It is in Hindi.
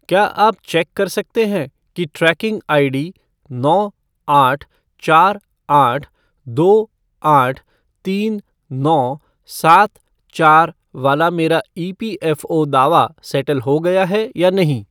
क्या आप चेक कर सकते हैं कि ट्रैकिंग आईडी नौ आठ चार आठ दो आठ तीन नौ सात चार वाला मेरा ईपीएफ़ओ दावा सैटल हो गया है या नहीं?